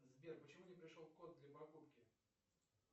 сбер почему не пришел код для покупки